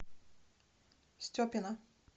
степина